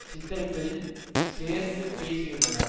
சித்தரிப்பதில் சேர்ந்து பேசியுள்ளனர்